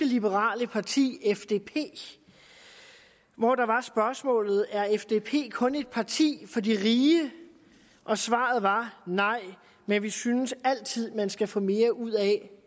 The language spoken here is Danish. liberale parti fdp hvor der var spørgsmålet er fdp kun et parti for de rige og svaret var nej men vi synes altid man skal få mere ud af